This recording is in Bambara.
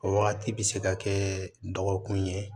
O wagati bɛ se ka kɛ dɔgɔkun ye